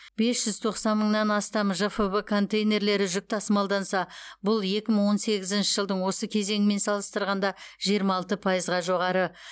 бес жүз тоқсан мыңнан астам жфб контейнерлері жүк тасымалданса бұл екі мың он сегізінші жылдың осы кезеңімен салыстырғанда жиырма алты пайызға жоғары